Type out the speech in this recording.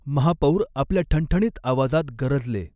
महापौर आपल्या ठणठणीत आवाजात गरजले.